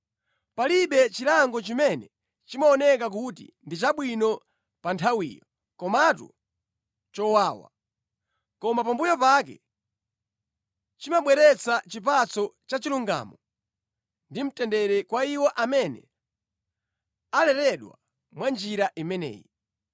Palibe chilango chimene chimaoneka kuti ndi chabwino pa nthawiyo, komatu chowawa. Koma pambuyo pake, chimabweretsa chipatso chachilungamo ndi mtendere kwa iwo amene aleredwa mwa njira imeneyi.